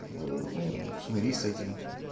ну смирись с этим